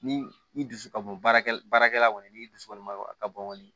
Ni i dusu ka bon baarakɛla baarakɛla kɔni n'i dusu kɔni ma a bɔn kɔni